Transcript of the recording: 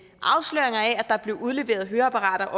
at der blev udleveret høreapparater